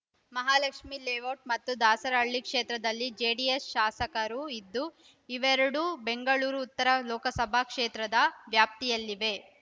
Mahalakshmi layout ಮತ್ತು ದಾಸರಹಳ್ಳಿ ಕ್ಷೇತ್ರದಲ್ಲಿ JDS ಶಾಸಕರು ಇದ್ದು ಇವೆರಡೂ ಬೆಂಗಳೂರು ಉತ್ತರ ಲೋಕಸಭಾ ಕ್ಷೇತ್ರದ ವ್ಯಾಪ್ತಿಯಲ್ಲಿವೆ